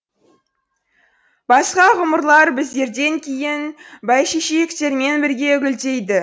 басқа ғұмырлар біздерден кейін бәйшешектермен бірге гүлдейді